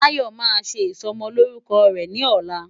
Tayo máa ṣe ìsọmọlórúkọ rẹ̀ ní ọ̀la.